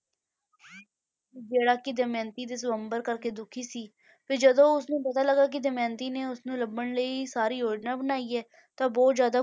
ਜਿਹੜਾ ਕਿ ਦਮਿਅੰਤੀ ਦੇ ਸਵੰਬਰ ਕਰਕੇ ਦੁਖੀ ਸੀ, ਫਿਰ ਜਦੋਂ ਉਸ ਨੂੰ ਪਤਾ ਲੱਗਾ ਕਿ ਦਮਿਅੰਤੀ ਨੇ ਉਸ ਨੂੰ ਲੱਭਣ ਲਈ ਹੀ ਸਾਰੀ ਯੋਜਨਾ ਬਣਾਈ ਹੈ, ਤਾਂ ਉਹ ਬਹੁਤ ਜ਼ਿਆਦਾ